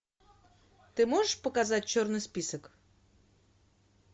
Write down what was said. ты можешь показать черный список